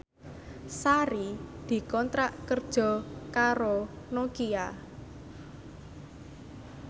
Sari dikontrak kerja karo Nokia